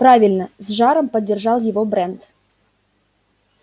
правильно с жаром поддержал его брент